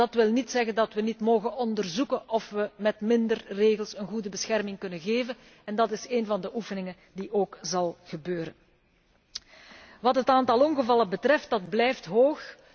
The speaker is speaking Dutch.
Dat wil niet zeggen dat wij niet mogen onderzoeken of wij met minder regels een goede bescherming kunnen bieden en dat is één van de oefeningen die ook zal plaatsvinden. Wat het aantal ongevallen betreft, dat aantal blijft hoog.